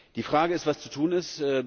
Die Frage ist, was zu tun ist.